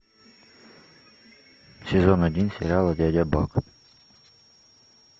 сезон один сериала дядя бак